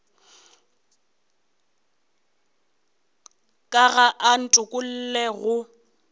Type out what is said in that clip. ka ga a ntokolle go